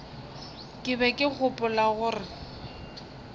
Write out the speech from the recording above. ke be ke gopola gore